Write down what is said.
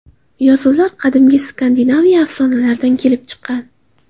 Yozuvlar qadimgi Skandinaviya afsonalaridan kelib chiqqan.